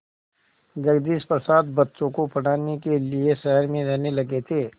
जगदीश प्रसाद बच्चों को पढ़ाने के लिए शहर में रहने लगे थे